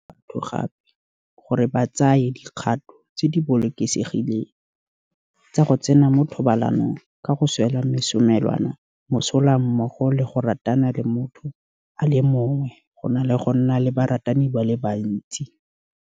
Lefapha le sa tswa go dira ka tshwaraganelo le toropokgolo le tsepile mo ditiragalong tse di seng mo molaong tse di malebana le metsi kwa Mfuleni.